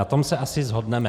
Na tom se asi shodneme.